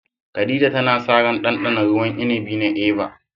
Khadija tana sa ran ɗanɗana ruwan inibi na "Eva"